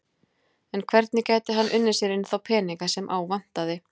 En hvernig gæti hann unnið sér inn þá peninga sem á vantaði?